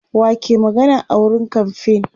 wa ke magana a wurin kamfain